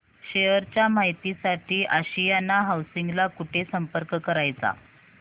share च्या माहिती साठी आशियाना हाऊसिंग ला कुठे संपर्क करायचा